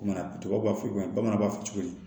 Banaw b'a fɔ ko bamananw b'a fɔ cogo di